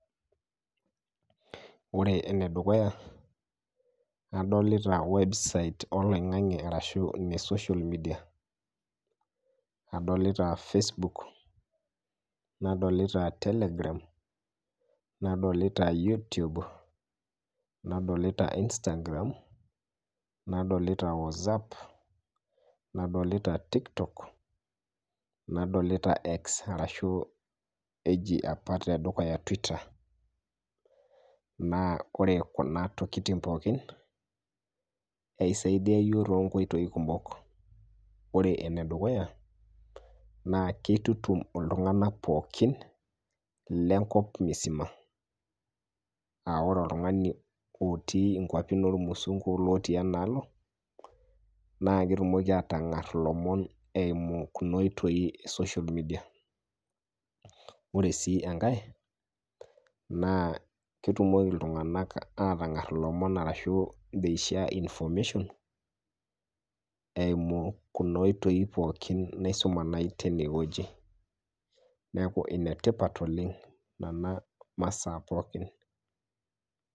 Ore enedukuya adolita websites eloing'ang'e arashu ne social media adolita facebook nadolita telegram nadolita youtube nadolita instagram nadolita whatsapp cs] nadolita tiktok nadolit X arashu eji apa twitter naa kore kuna tokitin pookin eisaidia yook too nkoitoi kumok, ore ene dukuya naa keitutum ltunganak pookin le enkop misima, aa ore oltungani lotii inkwapi noo lmusungu onotii enaalo naaa ketumoki aatang'ar lomon eimu kuna oitoi e social media ,ore sii enkae naa ketumoki ltunganak aatng'ar lomon arashu they share information eimu kuna oitoi pookin naisuma nai teine weji naaku enetipat oleng nena masaa pookin.